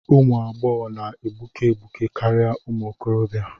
Ụmụ agbọghọ na-egbuke egbuke karịa ụmụ okorobịa.